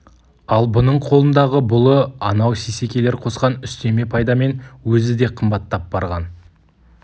ал бұның қолындағы бұлы анау сейсекелер қосқан үстеме пайдамен өзі де қымбаттап барған